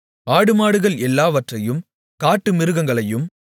ஆடுமாடுகள் எல்லாவற்றையும் காட்டுமிருகங்களையும்